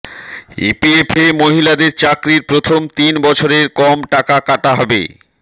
ইপিএফে মহিলাদের চাকরির প্রথম তিন বছরের কম টাকা কাটা হবে